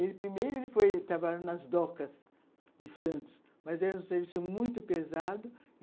Ele, primeiro, ele foi trabalhar nas docas de Santos, mas era um serviço muito pesado.